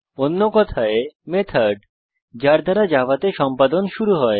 অন্য কথায় মেথড যার দ্বারা জাভাতে সম্পাদন শুরু হয়